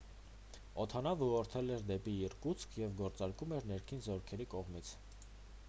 օդանավն ուղղորդվել էր դեպի իրկուտսկ և գործարկվում էր ներքին զորքերի կողմից